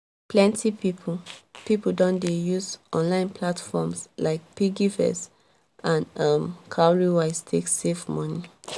plenty people people don dey use onlne platforms like piggvest and um cowrywise take save moni